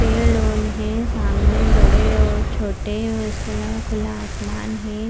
पेड़ ओन हें सामने बड़े और छोटे और उसके अलावा खुला आसमान हें।